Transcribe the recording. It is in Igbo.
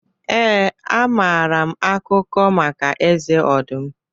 Ee, amaara m akụkọ maka Eze ọdụm.